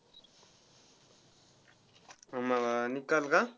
आम्हाला निकाल का.